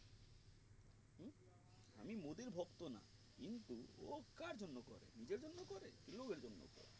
আমি মোদীর ভক্ত না কিন্তু ও কার জন্য করে নিজের জন্য করে লোকের জন্য করে